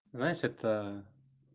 знаешь это